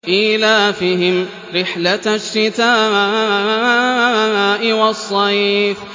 إِيلَافِهِمْ رِحْلَةَ الشِّتَاءِ وَالصَّيْفِ